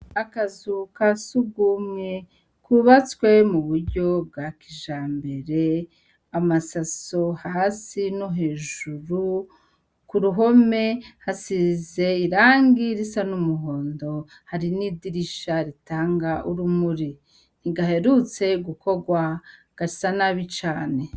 Akazu ka sugumwe kubatswe mu buryo bwa kija mbere amasaso hasi no hejuru ku ruhome hasize irangi risa n'umuhondo hari n'idirisha ritanga urumuri nigaherutse gukorwa ga sa nabi cane.